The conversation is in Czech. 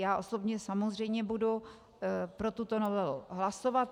Já osobně samozřejmě budu pro tuto novelu hlasovat.